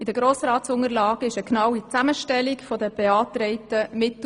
In den Grossratsunterlagen befindet sich eine genaue Zusammenstellung der beantragten Mittel.